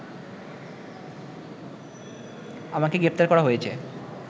আমাকে গ্রেফতার করা হয়েছে